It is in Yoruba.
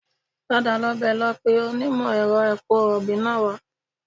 Padà lọ mi lọ pe onímọ̀-ẹ̀rọ epo rọ̀bì náà wá